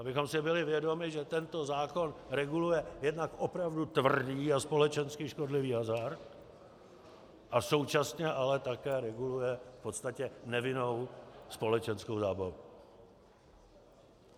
Abychom si byli vědomi, že tento zákon reguluje jednak opravdu tvrdý a společensky škodlivý hazard a současně ale také reguluje v podstatě nevinnou společenskou zábavu.